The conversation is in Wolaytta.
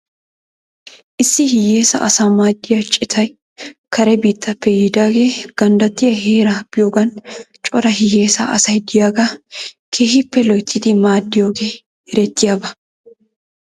Issi hiyeesa asaa maaddiyaa citay kare biittappe yiidaagee ganddattiyaa heera biyoogan cora hiyeesa asay de'iyaagaa keehippe loyttidi maadidoogee erettiyaaba .